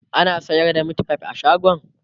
ana sayar da meatfie a shagon?